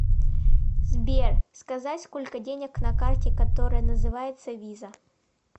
сбер сказать сколько денег на карте которая называется виза